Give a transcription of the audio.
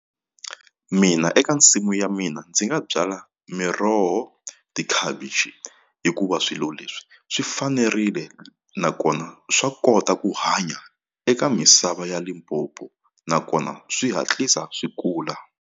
Mina eka nsimu ya mina ndzi nga byala miroho tikhavichi hikuva swilo leswi swi fanerile nakona swa kota ku hanya eka misava ya Limpopo nakona swi hatlisa swi kula.